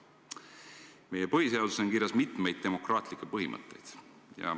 Meie põhiseaduses on kirjas hulk demokraatlikke põhimõtteid.